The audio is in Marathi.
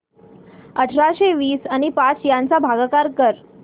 अठराशे वीस आणि पाच यांचा भागाकार कर